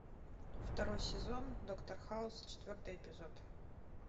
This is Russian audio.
второй сезон доктор хаус четвертый эпизод